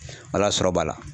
Ala sɔrɔ b'a la.